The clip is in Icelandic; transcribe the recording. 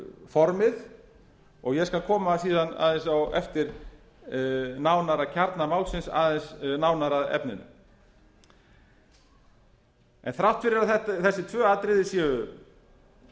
formið og ég skal koma síðan aðeins á eftir nánar að kjarna málsins aðeins nánar að efninu þrátt fyrir að þessi tvö atriði séu